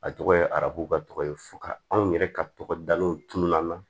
A tɔgɔ ye arabuba tɔgɔ ye fo ka anw yɛrɛ ka tɔgɔda n'u tununa